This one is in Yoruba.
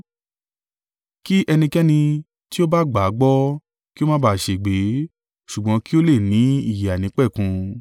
Kí ẹnikẹ́ni tí ó bá gbà á gbọ́, kí ó má bà á ṣègbé, ṣùgbọ́n kí ó le ní ìyè àìnípẹ̀kun.”